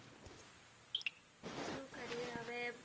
શું કરીએ હવે?